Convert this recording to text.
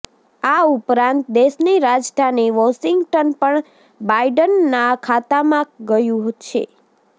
આ ઉપરાંત દેશની રાજધાની વોશિંગટન પણ બાઇડનના ખાતામાં ગયું છે